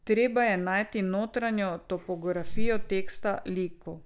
Treba je najti notranjo topografijo teksta, likov.